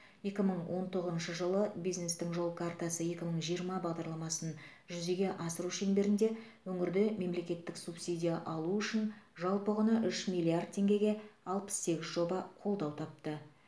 екі мың он тоғызыншы жылы бизнестің жол картасы екі мың жиырма бағдарламасын жүзеге асыру шеңберінде өңірде мемлекеттік субсидия алу үшін жалпы құны үш миллиард теңгеге алпыс сегіз жоба қолдау тапты